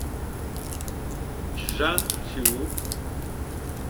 чжанцю